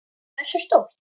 Hversu stórt?